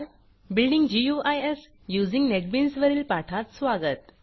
building GUIs using NetBeans वरील पाठात स्वागत